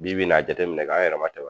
Bi bi in na , a jateminɛ ,k'an yɛrɛ ma tɛmɛ